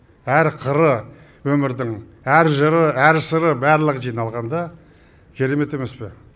әр қыры өмірдің әр жыры әр сыры барлығы жиналғанда керемет емес пе